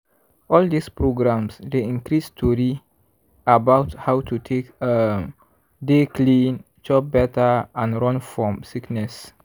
um all dis programs dey increase tori about how to take um dey clean chop better and run fom sickness.